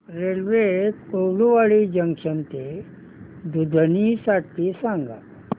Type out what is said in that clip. railway Kurduwadi junction ते दुधनी साठी सांगा